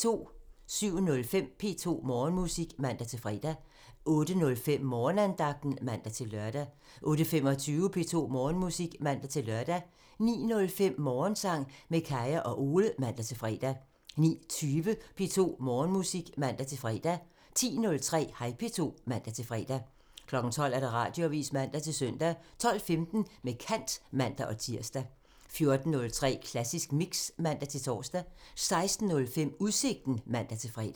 07:05: P2 Morgenmusik (man-fre) 08:05: Morgenandagten (man-lør) 08:25: P2 Morgenmusik (man-lør) 09:05: Morgensang med Kaya og Ole (man-fre) 09:20: P2 Morgenmusik (man-fre) 10:03: Hej P2 (man-fre) 12:00: Radioavisen (man-søn) 12:15: Med kant (man-tir) 14:03: Klassisk Mix (man-tor) 16:05: Udsigten (man-fre)